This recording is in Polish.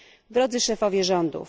Drodzy szefowie rządów!